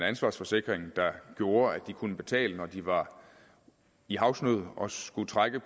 ansvarsforsikring der gjorde at de kunne betale når de var i havsnød og skulle trække